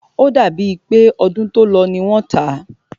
O dàbí è pé ọdún tó lọ ní wọ́n tá.